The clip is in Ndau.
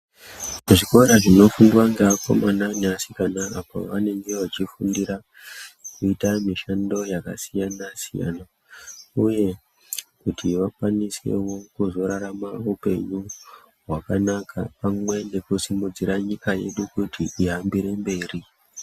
Zvikora zvinofundwa ngeakomana neasikana apo pavanenge vachifundira kuita mishando yakasiyana siyana uye kuti vakwanisewo kuzorarama upenyu hwakanaka pamwe nekusimudzira nyika yedu kuti ihambire mberi.